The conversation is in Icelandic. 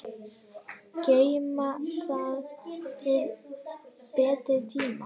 Geyma það til betri tíma.